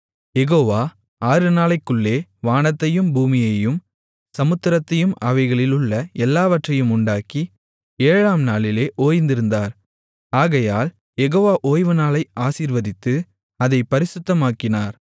யெகோவா ஆறுநாளைக்குள்ளே வானத்தையும் பூமியையும் சமுத்திரத்தையும் அவைகளிலுள்ள எல்லாவற்றையும் உண்டாக்கி ஏழாம்நாளிலே ஓய்ந்திருந்தார் ஆகையால் யெகோவா ஓய்வுநாளை ஆசீர்வதித்து அதைப் பரிசுத்தமாக்கினார்